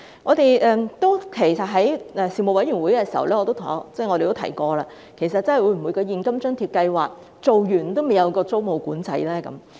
事實上，我們在事務委員會會議上曾提到，會否在現金津貼計劃結束後，仍未推出租務管制呢？